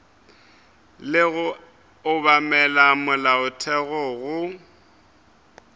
le go obamela molaotheo go